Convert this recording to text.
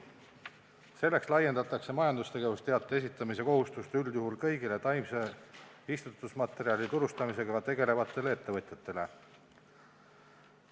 Selleks laiendatakse majandustegevuse teate esitamise kohustust üldjuhul kõigile taimse istutusmaterjali turustamisega tegelevatele ettevõtjatele.